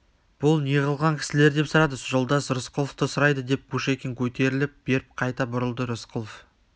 бұл неғылған кісілер деп сұрады жолдас рысқұловты сұрайды деп кушекин көтеріле беріп қайта бұрылды рысқұлов